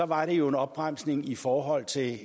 var det jo en opbremsning i forhold til